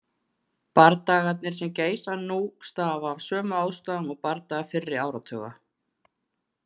Bardagarnir sem geisa nú stafa af sömu ástæðum og bardagar fyrri áratuga.